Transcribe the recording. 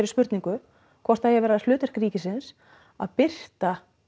spurningu hvort það eigi að vera hlutverk ríkisins að birta